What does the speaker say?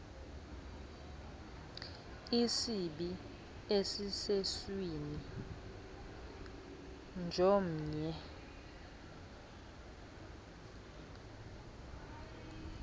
isibi esisesweni jomnye